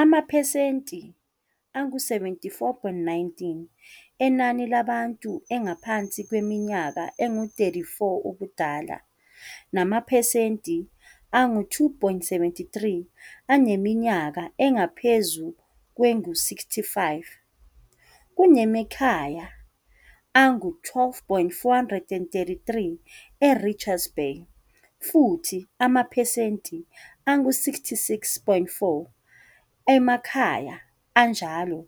Amaphesenti angu-74.19 enani labantu angaphansi kweminyaka engu-34 ubudala, namaphesenti angu-2.73 aneminyaka engaphezu kwengu-65. Kunamakhaya angu-12,433 eRichards Bay, futhi amaphesenti angu-66,4 amakhaya enjalo